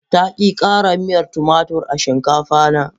Ta ki kara miyar tumatur a shinkafa na.